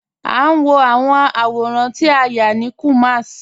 A n wọ awọn awọ̀rán tí a yá ni Kumasi.